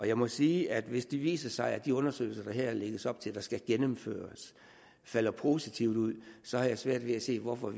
jeg må sige at hvis det viser sig at de undersøgelser der her lægges op til skal gennemføres falder positivt ud så har jeg svært at se hvorfor